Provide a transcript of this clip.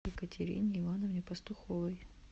екатерине ивановне пастуховой